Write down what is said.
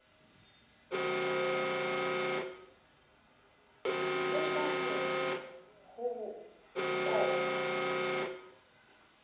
le hlahe ho o fa